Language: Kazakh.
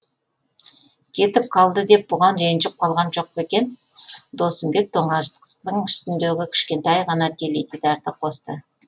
кетіп қалды деп бұған ренжіп қалған жоқ па екен досымбек тоңазытқыштың үстіндегі кішкентай ғана теледидарды қосты